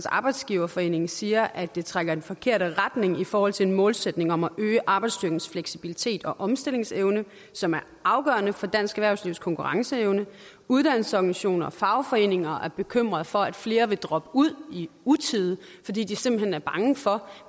arbejdsgiverforening siger at det trækker i den forkerte retning i forhold til en målsætning om at øge arbejdsstyrkens fleksibilitet og omstillingsevne som er afgørende for dansk erhvervslivs konkurrenceevne uddannelsesorganisationer og fagforeninger er bekymrede for at flere vil droppe ud i utide fordi de simpelt hen er bange for